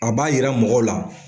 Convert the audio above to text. A b'a yira mɔgɔw la.